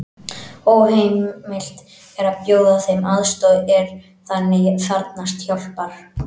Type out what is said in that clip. Óheimilt er að bjóða þeim aðstoð er þannig þarfnast hjálpar.